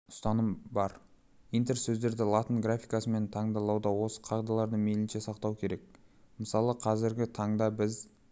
ұстаным бар интерсөздерді латын графикасымен таңбалауда осы қағидаларды мейлінше сақтау керек мысалы қазіргі таңда біз